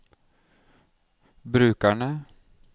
brukerne